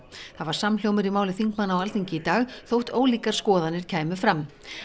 það var samhljómur í máli þingmanna á Alþingi í dag þótt ólíkar skoðanir kæmu fram